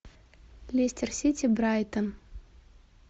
лестер сити брайтон